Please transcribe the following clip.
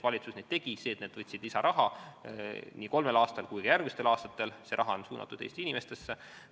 Valitsus need otsused tegid, need võtsid lisaraha nii nendel kolmel aastal kui võtavad ka järgmistel aastatel, aga see raha on mõeldud Eesti inimestele.